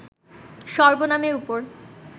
সর্বনামের উপর